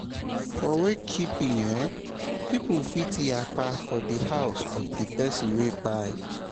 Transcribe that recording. for wakekeep eh, pipo fit yakpa for di house of di pesin wey kpai